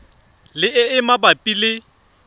le e e mabapi le